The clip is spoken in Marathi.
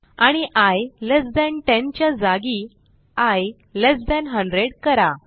आणि आय लेस थान 10 च्या जागी आय लेस थान 100 करा